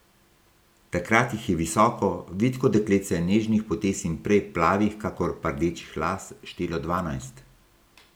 Takrat jih je visoko, vitko dekletce nežnih potez in prej plavih kakor pa rdečih las štelo dvanajst.